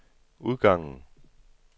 udgangen